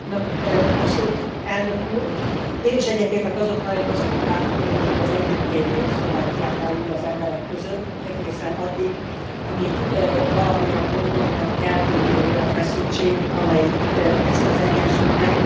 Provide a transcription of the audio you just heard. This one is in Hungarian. Én is egyetértek azokkal, akik azt mondták, hogy nagyon jó az együttélés Szlovákián belül az emberek között, egészen addig, amíg valamilyen módon nem keltődik egy olyan feszültség, amelyik ezt az egyensúlyt megbontja, vagy együttélést nehezebbé teszi.